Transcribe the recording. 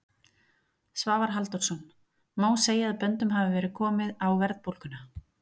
Svavar Halldórsson: Má segja að böndum hafi verið komið á verðbólguna?